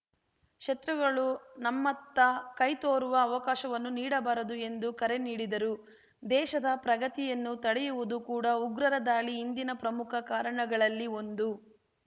ಶತ್ರುಗಳು ನಮ್ಮತ್ತ ಕೈತೋರುವ ಅವಕಾಶವನ್ನು ನೀಡಬಾರದು ಎಂದು ಕರೆ ನೀಡಿದರು ದೇಶದ ಪ್ರಗತಿಯನ್ನು ತಡೆಯುವುದು ಕೂಡ ಉಗ್ರರ ದಾಳಿ ಹಿಂದಿನ ಪ್ರಮುಖ ಕಾರಣಗಳಲ್ಲಿ ಒಂದು